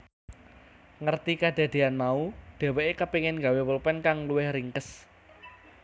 Ngerti kedadeyan mau dheweke kepengin gawé polpen kang luwih ringkes